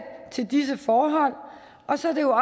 til disse forhold og så er det jo